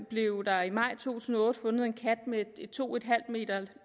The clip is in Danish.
blev der i maj to tusind og otte fundet en kat med et to m